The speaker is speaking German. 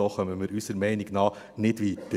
So kommen wir unserer Meinung nach nicht weiter.